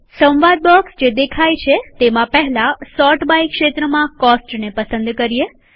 સંવાદ બોક્સ જે દેખાય છેતેમાં પહેલા સોર્ટ બાય ક્ષેત્રમાં કોસ્ટને પસંદ કરીએ